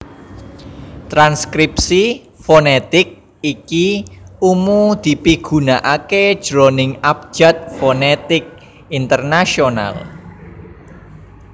Transkripsi fonètik iki umu dipigunakaké jroning Abjad Fonètik Internasional